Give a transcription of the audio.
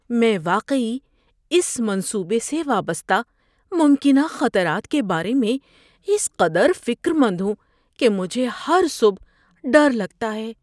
میں واقعی اس منصوبے سے وابستہ ممکنہ خطرات کے بارے میں اس قدر فکر مند ہوں کہ مجھے ہر صبح ڈر لگتا ہے۔